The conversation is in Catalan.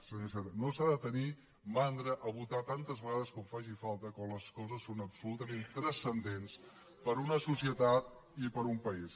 senyor iceta no s’ha de tenir mandra de votar tantes vegades com faci falta quan les coses són absolutament transcendents per a una societat i per a un país